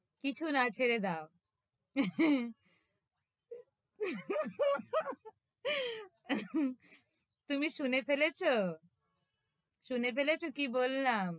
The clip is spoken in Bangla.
কিছু না ছেড়ে দাও তুমি শুনে ফেলেছ? শুনে ফেলেছ কি বললাম?